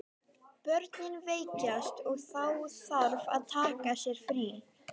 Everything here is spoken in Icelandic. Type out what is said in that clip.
Börnin veikjast og þá þarf að taka sér frí.